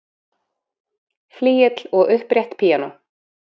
flygill og upprétt píanó